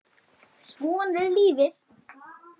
Svona er lífið.